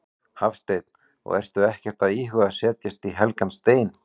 Hafsteinn: Og ertu ekkert að íhuga að setja í helgan stein?